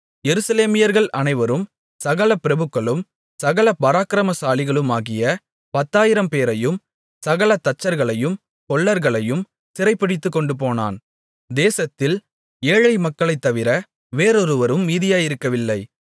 எருசலேமியர்கள் அனைவரும் சகல பிரபுக்களும் சகல பராக்கிரமசாலிகளுமாகிய பத்தாயிரம்பேரையும் சகல தச்சர்களையும் கொல்லர்களையும் சிறைபிடித்துக்கொண்டுபோனான் தேசத்தில் ஏழை மக்களைத் தவிர வேறொருவரும் மீதியாயிருக்கவில்லை